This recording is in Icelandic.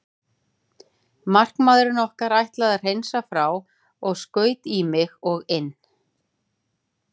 Markamaðurinn okkar ætlaði að hreinsa frá og skaut í mig og inn.